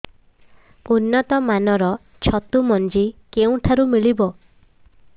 ଉନ୍ନତ ମାନର ଛତୁ ମଞ୍ଜି କେଉଁ ଠାରୁ ମିଳିବ